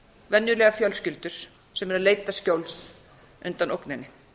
venjulegar fjölskyldur sem hefur leitað skjóls undan ógninni